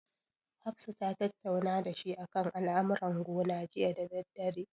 Hafsa ta tattauna dashi akan al'amuran gona jiya da daddare.